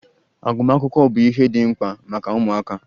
Agụmakwụkwọ bụ ihe dị mkpa maka ụmụaka.